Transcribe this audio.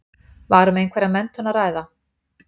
Var um einhverja menntun að ræða?